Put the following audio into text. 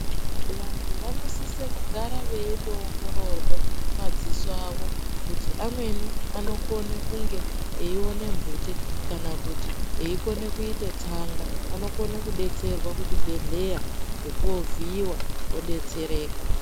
Vantu vanosisa gara veindoongororwa madziso avo kuti amweni anokone kunge eiona mbute kana kuti eikona kuite tsaga anokune kudetserwa kuchibhehleya ngekunovhiiwa odetsereka.